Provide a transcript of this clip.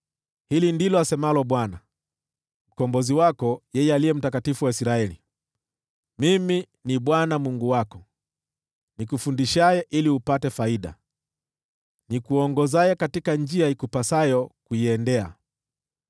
Hili ndilo asemalo Bwana , Mkombozi wako, yeye Aliye Mtakatifu wa Israeli: “Mimi ni Bwana , Mungu wako, nikufundishaye ili upate faida, nikuongozaye katika njia ikupasayo kuiendea.